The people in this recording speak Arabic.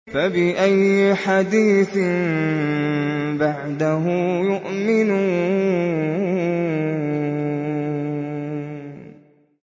فَبِأَيِّ حَدِيثٍ بَعْدَهُ يُؤْمِنُونَ